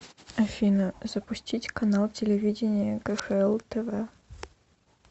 афина запустить канал телевидения кхл тв